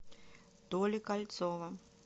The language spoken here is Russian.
толи кольцова